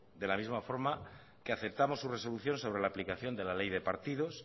de la misma forma que aceptamos su resolución sobre la aplicación de la ley de partidos